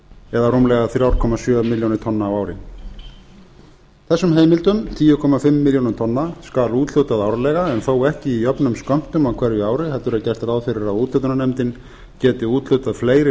eða rúmlega þrjú komma sjö milljónir tonna á ári þessum heimildum tíu komma fimm milljónum tonna skal úthlutað árlega en þó ekki í jöfnum skömmtum á hverju ári heldur er gert ráð fyrir að úthlutunarnefndin geti úthlutað fleiri